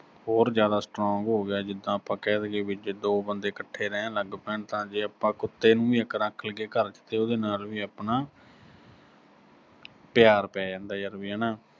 ਹੋਰ ਜ਼ਿਆਦਾ strong ਹੋ ਗਿਆ, ਜਿੱਦਾਂ ਆਪਾਂ ਕਹਿ ਦੀਏ ਵੀ ਜੇ ਦੋ ਬੰਦੇ ਇਕੱਠੇ ਰਹਿਣ ਲੱਗ ਪੈਣ ਤਾਂ ਜੇ ਆਪਾਂ ਕੁੱਤੇ ਨੂੰ ਵੀ ਰੱਖ ਲਈਏ ਘਰ 'ਚ, ਤੇ ਉਹਦੇ ਨਾਲ ਵੀ ਆਪਣਾ ਪਿਆਰ ਪੈ ਜਾਂਦਾ ਵੀ ਯਰ ਹਨਾ ਅਹ